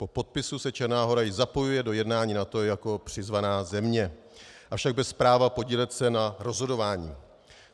Po podpisu se Černá Hora již zapojuje do jednání NATO jako přizvaná země, avšak bez práva podílet se na rozhodování.